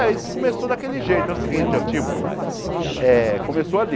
Ah, eles começou daquele jeito, é o seguinte ó, tipo, eh começou ali.